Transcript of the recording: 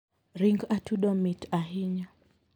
Ring atudo mit ahinya.